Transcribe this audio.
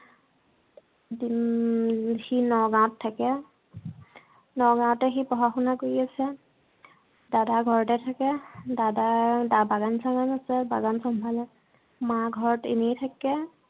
উম সি নগাঁৱত থাকে। নগাঁৱতে সি পঢ়া-শুনা কৰি আছে। দাদা ঘৰতে থাকে। দাদা বাগান চাগান আছে। বাগান চম্ভালে। মা ঘৰত এনেই থাকে।